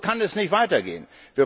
So kann es nicht weitergehen!